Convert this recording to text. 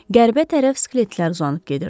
Qərbə tərəf skeletlər uzanıb gedirdi.